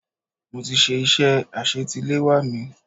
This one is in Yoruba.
Mo ti ṣe iṣẹ́ àsetiléwá mi.